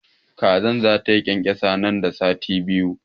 Kazar zata yi ƙyanƙyasa nan da sati biyu.